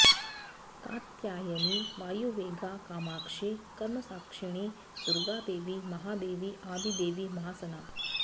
कात्यायनी वायुवेगा कामाक्षी कर्मसाक्षिणी दुर्गादेवी महादेवी आदिदेवी महासना